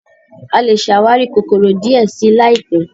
a lẹ ṣàwarí kòkòrò díẹ sí láìpé.